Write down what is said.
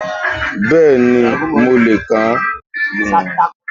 Bẹ́ẹ̀ni, mo lè kà á